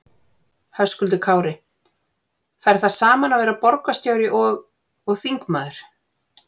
Höskuldur Kári: Fer það saman að vera borgarstjóri og, og þingmaður?